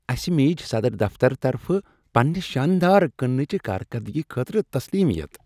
اسہ میج صدر دفتر طرفہٕ پننہ شاندار کٕننٕچہ کارکردگی خٲطرٕ تسلیمیت ۔